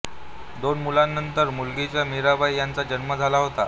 दोन मुलांनंतर मुलगीचा मिराबाई यांचा जन्म झाला होता